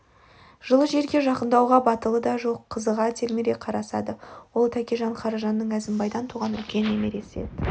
жылы жерге жақындауға батылы да жоқ қызыға телміре қарасады олтәкежан қаражанның әзімбайдан туған үлкен немересі ет